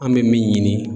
An bɛ min ɲini